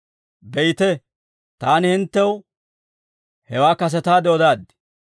Be'ite, taani hinttew hewaa kasetaade odaaddi.